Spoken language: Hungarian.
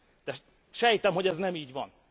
de sejtem, hogy ez nem így van.